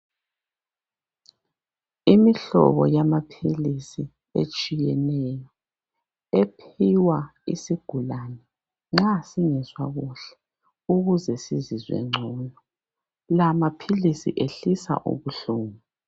Imihlobo yamaphilisinetshiyeneyo. Ephiwa isigulane, nxa singezwa kuhle. Ukuze sizizwe ngcono. Lamaphilisi, ehlisa ubuhlungu.